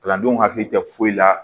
Kalandenw hakili tɛ foyi la